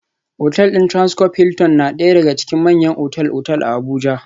Otal din Transcorp Hilton na daya daga cikin manyan otal-otal a Abuja